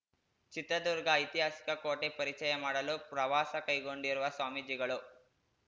ಚಿತ್ರದುರ್ಗ ಐತಿಹಾಸಿಕ ಕೋಟೆ ಪರಿಚಯ ಮಾಡಲು ಪ್ರವಾಸಕೈಗೊಂಡಿರುವ ಸ್ವಾಮೀಜಿಗಳು